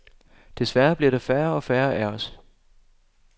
Desværre bliver der færre og færre af os.